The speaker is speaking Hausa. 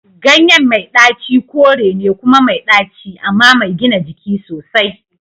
Ganyen mai daci kore ne kuma mai ɗaci amma mai gina jiki sosai.